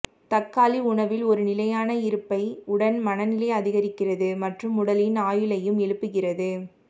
தக்காளி உணவில் ஒரு நிலையான இருப்பை உடன் மனநிலை அதிகரிக்கிறது மற்றும் உடலின் ஆயுளையும் எழுப்புகிறது